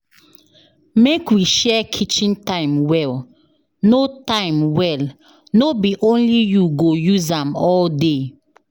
Make we share kitchen time well, no time well, no be only you go use am all day.